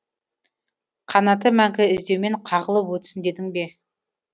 қанаты мәңгі іздеумен қағылып өтсін дедің бе